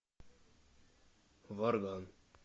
варган